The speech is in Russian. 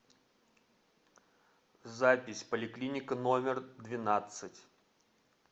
запись поликлиника номер двенадцать